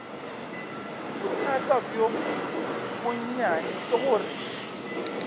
bothata bjo bonnyane ke gore